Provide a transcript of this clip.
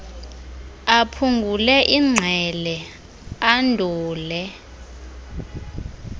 aphungule ingqele andule